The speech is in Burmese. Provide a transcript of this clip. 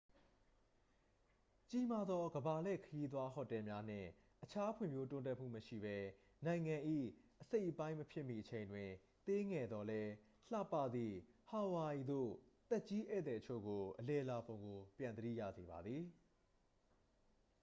ကြီးမားသော ကမ္ဘာလှည့်ခရီးသွား ဟိုတယ်များနှင့် အခြား ဖွံ့ဖြိုးတိုးတက်မှု မရှိဘဲ နိုင်ငံ၏အစိတ်အပိုင်းမဖြစ်မီ အချိန်တွင် သေးငယ်သော်လည်း လှပသည့် ဟာဝိုင်အီသို့ သက်ကြီးဧည့်သည်အချို့ကို အလည်လာပုံကို ပြန်သတိရစေပါသည်